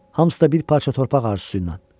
Hamısı da bir parça torpaq arzusu ilə.